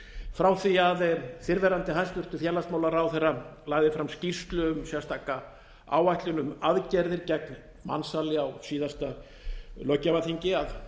frá því að fyrrverandi hæstvirtur félagsmálaráðherra lagði fram skýrslu um sérstaka áætlun um aðgerðir gegn mansali á síðasta löggjafarþingi